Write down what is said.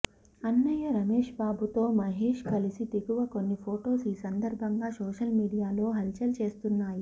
అన్నయ్య రమేష్బాబుతో మహేష్ కలిసి దిగిన కొన్ని ఫోటోస్ ఈ సందర్భంగా సోషల్ మీడియాలో హల్చల్ చేస్తున్నాయి